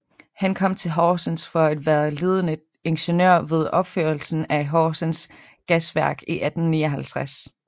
Han kom til Horsens for at være ledende ingeniør ved opførelsen af Horsens Gasværk i 1859